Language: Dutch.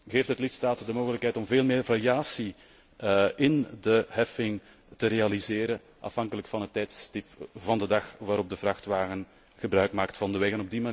geeft het de lidstaten de mogelijkheid om meer variatie in de heffing te realiseren, afhankelijk van het tijdstip van de dag waarop de vrachtwagen gebruik maakt van de weg.